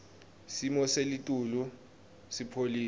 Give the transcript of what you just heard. simo selitulu sipholile